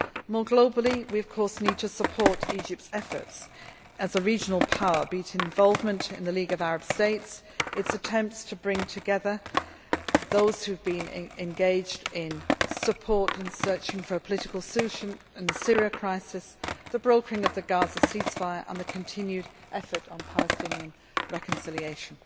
More globally, we of course need to support Egypt's efforts as a regional power, be it in involvement in the League of Arab States, its attempts to bring together those who have been engaged in supporting and searching for a political solution in the Syria crisis, the brokering of the Gaza ceasefire or the continued efforts on Palestinian reconciliation.